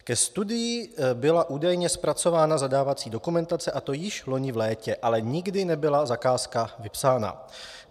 Ke studii byla údajně zpracována zadávací dokumentace, a to již loni v létě, ale nikdy nebyla zakázka vypsána.